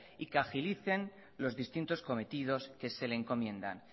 y que agilicen los distintos cometidos que se le encomienda